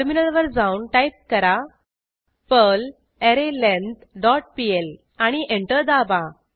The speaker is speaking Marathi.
टर्मिनलवर जाऊन टाईप करा पर्ल अरेलेंग्थ डॉट पीएल आणि एंटर दाबा